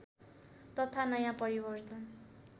तथा नयाँ परिवर्तन